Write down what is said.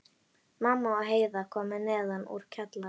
Mamma og Heiða komu neðan úr kjallara.